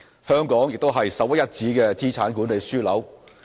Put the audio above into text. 香港也是首屈一指的資產管理樞紐。